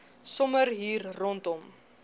sommer hier rondom